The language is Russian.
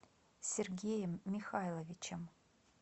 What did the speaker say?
сергеем михайловичем